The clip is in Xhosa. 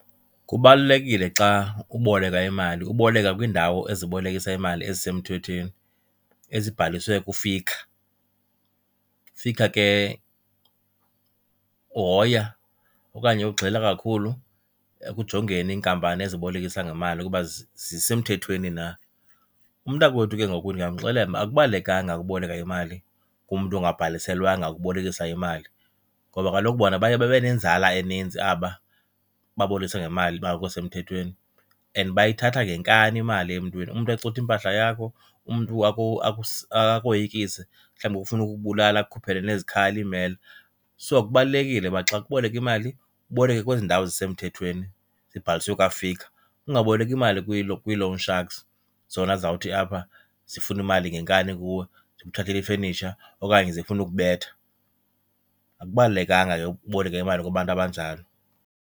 Kubalulekile xa uboleka imali uboleke kwindawo ezibolekisa imali ezisemthethweni ezibhaliswe kuFICA. UFICA ke uhoya okanye ugxila kakhulu ekujongeni iinkampani ezibolekisa ngemali ukuba zisemthethweni na. Umntakwethu ke ngoku ndingamxelela uba akubalulekanga uboleka imali kumntu ongabhaliselwanga ukubolekisa imali ngoba kaloku bona baye babe nenzala eninzi aba babolekisa ngemali bangekho semthethweni and bayithatha ngenkani imali emntwini. Umntu axuthe impahla yakho, umntu akoyikise, mhlawumbi afune ukubulala akukhuphele nezikhali iimela. So, kubalulekile uba xa uboleka imali uboleke kwezi ndawo zisemthethweni zibhaliswe kwaFICA, ungaboleki imali kwi-loan sharks zona zizawuthi apha zifuna imali ngenkani kuwe, zikuthathele ifenitsha okanye zifune ukubetha. Akubalulekanga ke ukuboleka imali kubantu abanjalo.